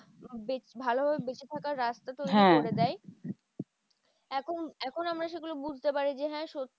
বেশ ভালোভাবে বেঁচে থাকার রাস্তা তৈরী করে দেয়। এখন এখন আমরা সেগুলো বুজতে পারি যে হ্যাঁ সত্যি